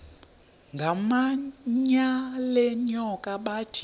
ngamanyal enyoka bathi